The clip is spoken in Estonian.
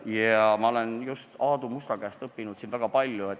Ja ma olen siin just Aadu Musta käest väga palju õppinud.